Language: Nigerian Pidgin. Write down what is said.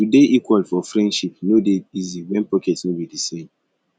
to dey equal for friendship no dey easy wen pocket no be di same